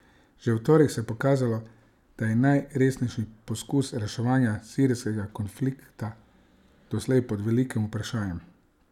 Že v torek se je pokazalo, da je najresnejši poskus reševanja sirskega konflikta doslej pod velikim vprašajem.